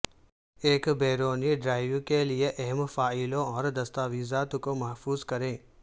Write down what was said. ایک بیرونی ڈرائیو کے لئے اہم فائلوں اور دستاویزات کو محفوظ کریں